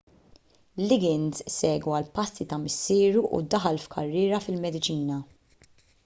liggins segwa l-passi ta' missieru u daħal f'karriera fil-mediċina